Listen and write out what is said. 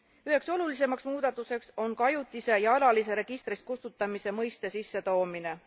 Üheks olulisemaks muudatuseks on ka ajutise ja alalise registrist kustutamise mõiste sissetoomine.